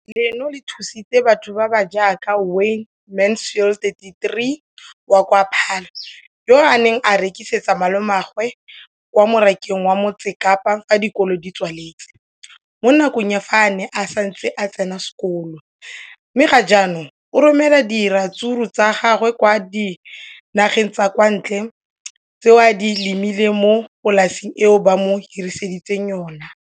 Leno le thusitse batho ba ba jaaka Wayne Mansfield, 33, wa kwa Paarl, yo a neng a rekisetsa malomagwe kwa Marakeng wa Motsekapa fa dikolo di tswaletse, mo nakong ya fa a ne a santse a tsena sekolo, mme ga jaanong o romela diratsuru tsa gagwe kwa dinageng tsa kwa ntle tseo a di lemileng mo polaseng eo ba mo hiriseditseng yona.